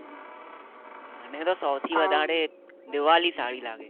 મને તો સાવ થી વધારે દિવાળી સારી લાગે